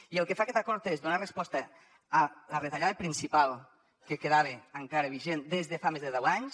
i el que fa aquest acord és donar resposta a la retallada principal que quedava encara vigent des de fa més de deu anys